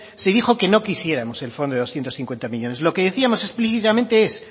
se dijo que no quisiéramos el fondo de doscientos cincuenta millónes lo que decíamos explícitamente es